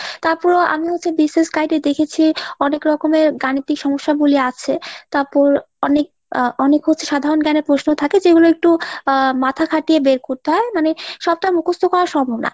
তারপরে আমিও হচ্ছে BCS guide এ দেখেছি অনেক রকমের গাণিতিক সমস্যা বলে আছে। তারপর অনেক আহ অনেক হচ্ছে সাধারণ জ্ঞানের প্রশ্ন থাকে যেগুলো একটু আহ মাথা খাটিয়ে বের করতে হয় মানে সবটা মুখস্ত করা সম্ভব না।